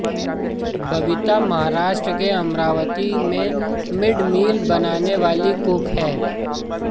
बबीता महाराष्ट्र के अमरावती में mid meal बनाने वालीं कुक हैं